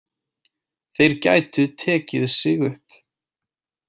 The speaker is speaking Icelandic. Þeir gætu tekið sig upp.